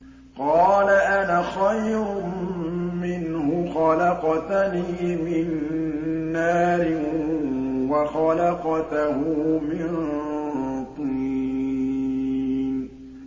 قَالَ أَنَا خَيْرٌ مِّنْهُ ۖ خَلَقْتَنِي مِن نَّارٍ وَخَلَقْتَهُ مِن طِينٍ